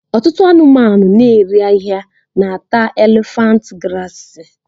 Ọtụtụ anụmanụ na-erì ahịhịa na-ata élèfànt grààsị